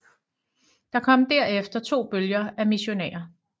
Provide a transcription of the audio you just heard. Der kom derefter to bølger af missionærer